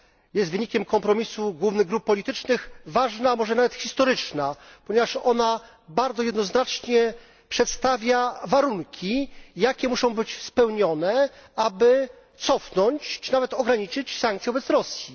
Jest ona wynikiem kompromisu wszystkich grup politycznych i jest ważna, a może nawet historyczna, ponieważ bardzo jednoznacznie przedstawia warunki, jakie muszą być spełnione, aby cofnąć czy nawet ograniczyć sankcje wobec Rosji.